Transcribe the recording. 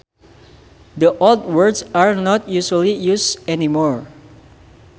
The old words are not usually used anymore